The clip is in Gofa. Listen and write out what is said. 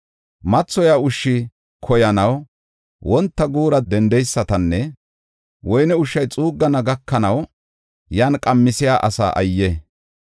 Mathoya ushsha koyanaw wonta guura dendeysatanne woyne ushshay xuuggana gakanaw, yan qamisiya asaa ayye!